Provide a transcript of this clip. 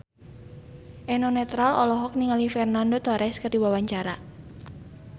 Eno Netral olohok ningali Fernando Torres keur diwawancara